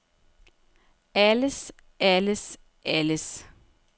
alles alles alles